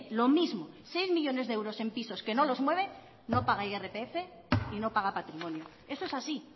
lo mismo seis millónes de euros en pisos que no los mueve no paga irpf y no paga patrimonio eso es así y